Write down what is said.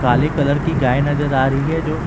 काले कलर की गाय नजर आ रही है जो--